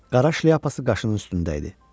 Qaraş leyapası qaşının üstündə idi.